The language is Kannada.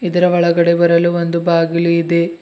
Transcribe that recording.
ಇದರ ಒಳಗಡೆ ಬರಲು ಒಂದು ಬಾಗಿಲು ಇದೆ.